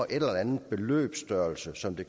eller anden beløbsstørrelse som det